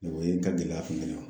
O ye n ka gɛlɛya